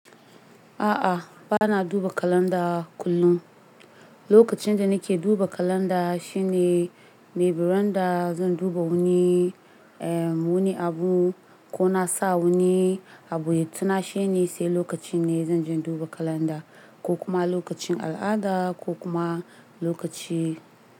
A'a, bana duba kalanda kullum. Lokacin da nake duba kalanda shine maybe randa zan duba wuni, eh wuni abu ko na sa wuni abu ya tuna shine sai lokacin ne zan je duba kalanda ko kuma lokacin al'ada ko kuma lokaci.